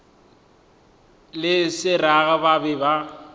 le seraga ba be ba